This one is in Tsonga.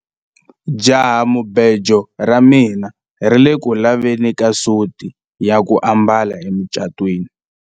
jahamubejo ra mina ri ku le ku laveni ka suti ya ku ambala emucatwiniexample improved